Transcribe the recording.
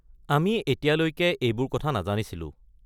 আমি এতিয়ালৈ এবোৰ কথা নাজানিছিলোঁ।